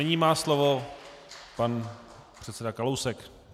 Nyní má slovo pan předseda Kalousek.